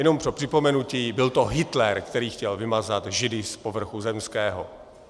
Jenom pro připomenutí, byl to Hitler, který chtěl vymazat Židy z povrchu zemského.